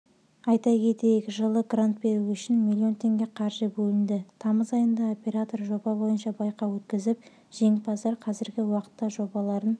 айта кетейік жылы грант беру үшін млн теңге қаржы бөлінді тамыз айында оператор жоба бойынша байқау өткізіп жеңімпаздар қазіргі уақытта жобаларын